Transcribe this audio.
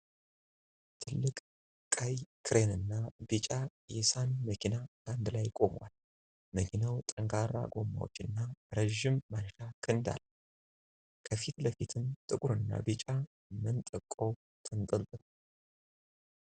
ትልቅ ቀይ ክሬን እና ቢጫ የሳኒ መኪና በአንድ ላይ ቆመዋል። መኪናው ጠንካራ ጎማዎች እና ረጅም ማንሻ ክንድ አለው፤ ከፊት ለፊትም ጥቁርና ቢጫ መንጠቆ ተንጠልጥሏል።